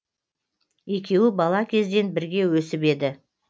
екеуі бала кезден бірге өсіп еді